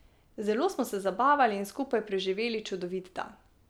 Zelo smo se zabavali in skupaj preživeli čudovit dan.